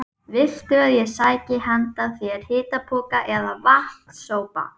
Viltu að ég sæki handa þér hitapoka eða vatns- sopa?